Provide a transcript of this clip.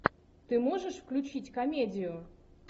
ты можешь включить комедию